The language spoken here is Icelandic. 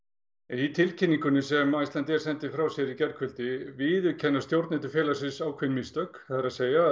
í tilkynningunni sem Icelandair sendi frá sér í gærkvöldi viðurkenna stjórnendur félagsins ákveðin mistök það er